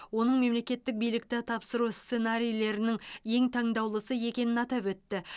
оның мемлекеттік билікті тапсыру сценарийлерінің ең таңдаулысы екенін атап өтті